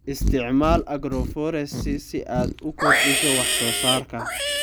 Isticmaal agroforestry si aad u kordhiso wax soo saarka.